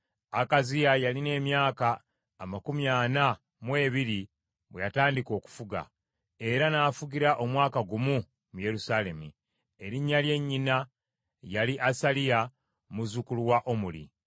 Akaziya yalina emyaka amakumi ana mu ebiri bwe yatandika okufuga, era n’afugira omwaka gumu mu Yerusaalemi. Erinnya lya nnyina yali Asaliya, muzzukulu wa Omuli.